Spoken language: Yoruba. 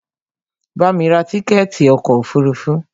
Bamí ra tíkẹ̀ẹ̀ti ọkò òfurufú!